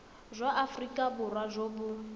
jwa aforika borwa jo bo